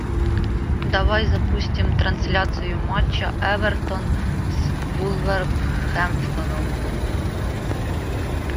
давай запустим трансляцию матча эвертон с вулверхэмптоном